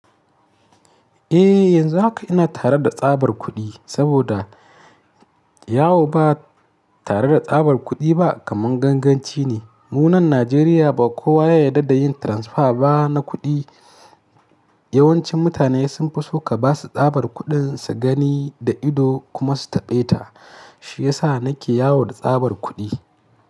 Eh, yanzu haka ina tare da tsabar kuɗi saboda yawo ba tare da tsabar kuɗi ba kaman ganganci ne. Mu nan Najeriya ba kowa ya yarda da yin transfer ba na kuɗi. Yawancin mutane sun fi so ka ba su tsabar kuɗin su gani da ido kuma su taɓe ta. Shiyasa nake yawo da tsabar kuɗi.